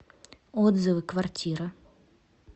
отзывы квартира